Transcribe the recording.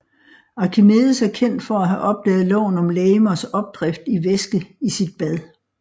Archimedes er kendt for at have opdaget loven om legemers opdrift i væske i sit bad